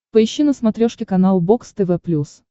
поищи на смотрешке канал бокс тв плюс